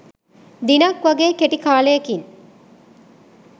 දිනක් වගේ කෙටි කාලයකින්.